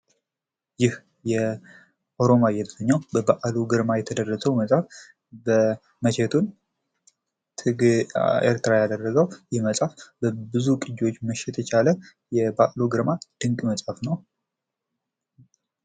ይህ ኦሮማይ የተሰኘው በበአሉ ግርማ የተደረሰው መጽሐፍ መቼቱን ኤርትራ ያደረገው ይህ መጽሐፍ ብዙ ቅጅዎችን መሸጥ የቻለ የበአሉ ግርማ ድንቅ መጽሐፍ ነው።